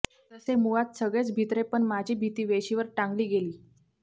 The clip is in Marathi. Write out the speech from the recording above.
तसे मुळात सगळेच भित्रे पण माझी भीती वेशीवर टांगली गेली